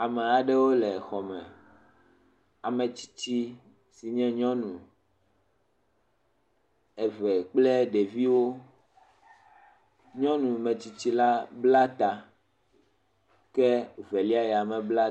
ame aɖewo le xɔme ametsitsi nye nyɔnu eve kple ɖeviwo nyɔŋu metsitsi la bla ta ke velia ya me bla ta o